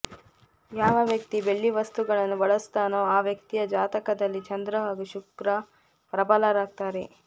ಯಾವ ವ್ಯಕ್ತಿ ಬೆಳ್ಳಿ ವಸ್ತುಗಳನ್ನು ಬಳಸ್ತಾನೋ ಆ ವ್ಯಕ್ತಿಯ ಜಾತಕದಲ್ಲಿ ಚಂದ್ರ ಹಾಗೂ ಶುಕ್ರ ಪ್ರಬಲರಾಗ್ತಾರೆ